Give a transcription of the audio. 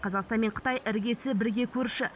қазақстан мен қытай іргесі бірге көрші